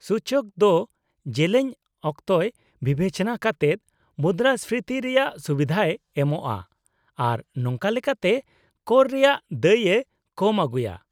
-ᱥᱩᱪᱚᱠ ᱫᱚ ᱡᱮᱞᱮᱧ ᱚᱠᱛᱚᱭ ᱵᱤᱵᱮᱪᱚᱱᱟ ᱠᱟᱛᱮᱫ ᱢᱩᱫᱽᱨᱟᱹᱥᱯᱷᱤᱛᱤ ᱨᱮᱭᱟᱜ ᱥᱩᱵᱤᱫᱷᱟᱭ ᱮᱢᱚᱜᱼᱟ, ᱟᱨ ᱱᱚᱝᱠᱟ ᱞᱮᱠᱟᱛᱮ ᱠᱚᱨ ᱨᱮᱭᱟᱜ ᱫᱟᱹᱭ ᱮ ᱠᱚᱢ ᱟᱹᱜᱩᱭᱟ ᱾